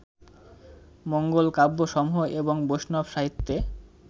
মঙ্গলকাব্যসমূহ এবং বৈষ্ণব সাহিত্যে